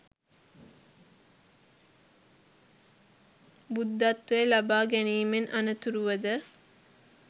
බුද්ධත්වය ලබා ගැනීමෙන් අනතුරුව ද